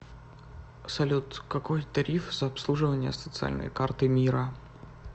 салют какой тариф за обслуживание социальной карты мира